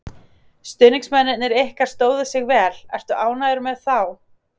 Stuðningsmennirnir ykkar stóðu sig vel, ertu ánægður með þá?